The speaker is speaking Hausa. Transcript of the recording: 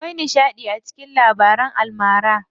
Akwai nishaɗi a cikin labaran almara.